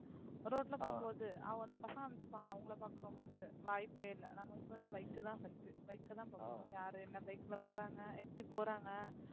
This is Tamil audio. ரோட்ல போகும்போது அவங்க அந்த பசங்க நினைச்சுப்பாங்க அவங்களை பார்க்குறோமோன்னுட்டு வாய்ப்பே இல்ல நமக்கு வந்து bike தான் first உ bike தான் பாப்போம் யாரு என்ன bike ல போறாங்க எப்படி போறாங்க